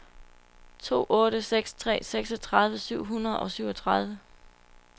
to otte seks tre seksogtredive syv hundrede og syvogtredive